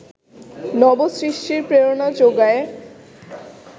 নবসৃষ্টির প্রেরণা জোগায়